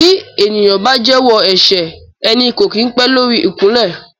Bí ènìyàn bá jẹ́wọ́ ẹ̀ṣẹ̀ ẹni kò kín pé lórí ikunle.